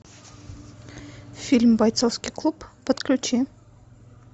фильм бойцовский клуб подключи